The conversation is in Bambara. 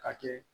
Ka kɛ